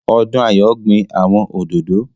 Odúnayọ̀ gbin àwọn òdòdó